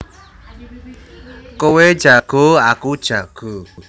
Kowe jago aku jago